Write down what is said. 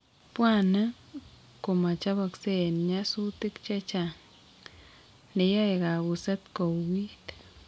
Bwanek ko machabksei en nyasutik chechang, neyae kabuset kouuit